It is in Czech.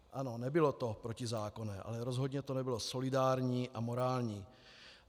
Ano, nebylo to protizákonné, ale rozhodně to nebylo solidární a morální.